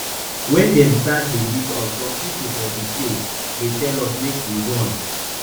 wen dem start dey beat us some pipo for di place dey tell us make we run